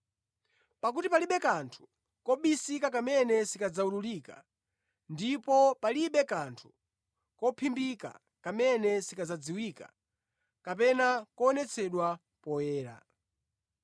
Pakuti palibe kanthu kobisika kamene sikadzawululika, ndipo palibe kanthu kophimbika kamene sikadzadziwika kapena kuonetsedwa poyera.